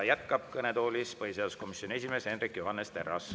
Ja kõnetoolis jätkab põhiseaduskomisjoni esimees Hendrik Johannes Terras.